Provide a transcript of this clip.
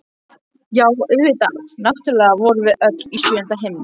Já, auðvitað, náttúrlega vorum við öll í sjöunda himni!